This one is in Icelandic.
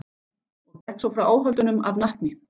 Og gekk svo frá áhöldunum af natni.